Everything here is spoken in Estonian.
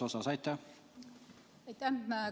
Aitäh!